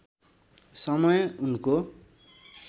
समय उनको